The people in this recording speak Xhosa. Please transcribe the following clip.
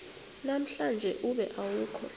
namhlanje ube awukho